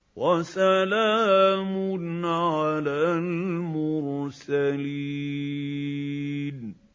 وَسَلَامٌ عَلَى الْمُرْسَلِينَ